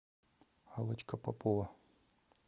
аллочка попова